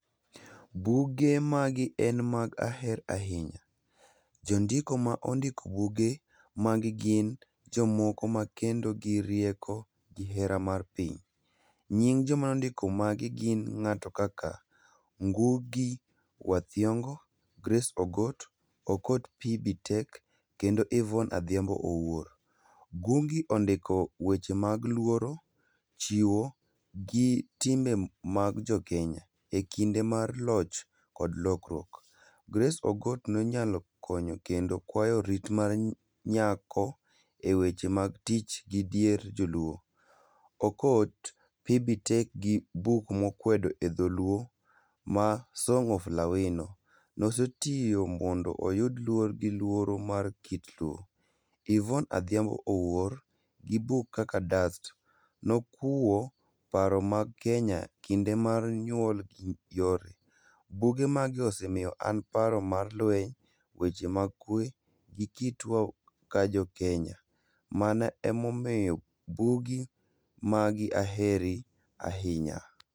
Buge magi en mag aher ahinya. Jondiko ma ondiki buge magi gin jomoko ma kendo girieko gi hera mar piny. Nying joma ndiko gin ng'ato kaka Ngugi Wa thiong'o, Grace Ogot, Okot Phoebe Tek kendo Yvonne Adhiambo Owuor. Gungi ondiko weche mag luoro, chiwo gi timbe mag Jokenya e kinde mag loch kod lokruok. Grace Ogot nonyalo konyo kendo kwayo rit mag nyako e weche mag tich gi dier joluo. Okot Phoebe Tek gi buk mokwedo e dholuo ma song of lawino. Nosetiyo mondo oyud luor gi luoro mar kit luo. Yvonne Adhiambo Owuor gi book kaka dust, nokuwo paro mag Kenya kinde mar nyuol. Buge magi osemiyo an paro mar lweny, weche mag kwe gi kitwa ka Jokenya. Mano emomiyo bugi magi aheri ahinya.